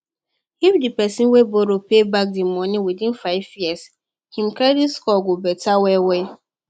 if the person wey borrow pay back the money within five years him credit score go better well well